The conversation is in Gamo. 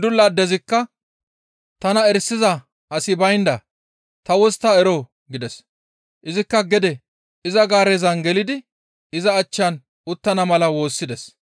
Gundula addezikka «Tana erisiza asi baynda ta wostta eroo?» gides. Izikka gede iza gaarezan gelidi iza achchan uttana mala woossides.